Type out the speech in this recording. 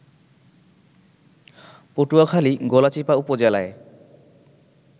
পটুয়াখালী গলাচিপা উপজেলায়